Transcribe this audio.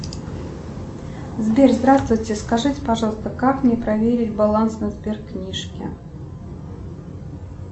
сбер здравствуйте скажите пожалуйста как мне проверить баланс на сберкнижке